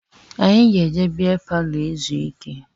Anyị ga-eje beer palọ ezu ike